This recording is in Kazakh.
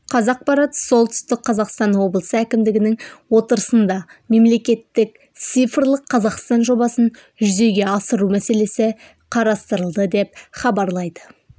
қазақпарат солтүстік қазақстан облысы әкімдігінің отырысында мемлекеттік цифрлық қазақстан жобасын жүзеге асыру мәселесі қарастырылды деп хабарлайды